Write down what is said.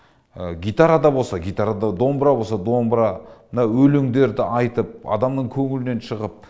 гитарада болса гитара домбыра болса домбыра мына өлеңдерді айтып адамның көңілінен шығып